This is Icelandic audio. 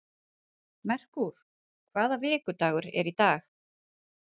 Merkúr, hvaða vikudagur er í dag?